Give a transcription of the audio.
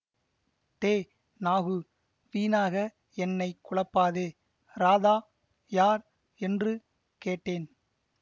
டே நாகு வீணாக என்னை குழப்பாதே ராதா யார் என்று கேட்டேன்